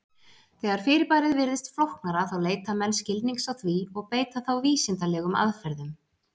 Þegar fyrirbærið virðist flóknara þá leita menn skilnings á því og beita þá vísindalegum aðferðum.